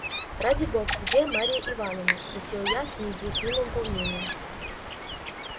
ради бога где марья ивановна спросил я с неизъяснимым волнением